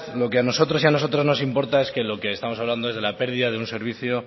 lo que a nosotras y a nosotros nos importa es que lo que estamos hablando es de la pérdida de un servicio